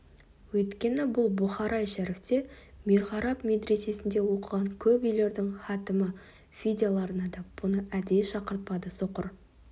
өйткені бұл бұхарай шәріфте мирғарап медресесінде оқыған көп үйлердің хатімі фидияларына да бұны әдейі шақыртпады соқыр